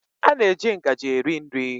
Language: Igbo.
A na-eji ngaji eri nri.